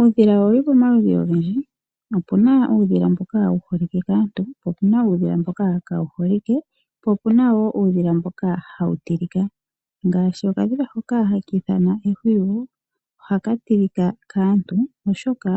Uudhila owuli pomaludhi ogendji. Opuna uudhila mboka wu holike kaantu, opuna mboka kaawu holike po opuna wo mboka hawu tilika ngaashi okadhila hoka haka ithanwa ehwiyu ohaka tilika kaantu, oshoka